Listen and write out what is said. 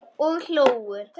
Og hlógu.